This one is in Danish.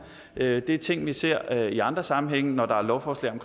det er ting vi ser i andre sammenhænge når der er lovforslag om